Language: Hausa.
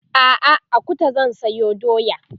a'a a Kuta zan sayo doya